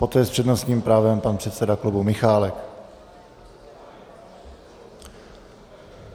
Poté s přednostním právem pan předseda klubu Michálek.